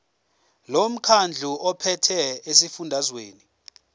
lomkhandlu ophethe esifundazweni